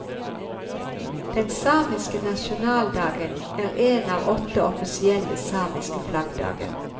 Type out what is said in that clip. Den samiske nasjonaldagen er en av åtte offisielle samiske flaggdager.